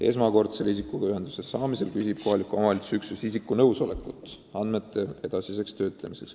Esmakordsel noore inimesega ühenduse saamisel küsib kohaliku omavalitsuse üksus tema nõusolekut andmete edasiseks töötlemiseks.